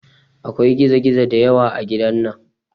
Akwai gizo gizo da yawa a gidan nan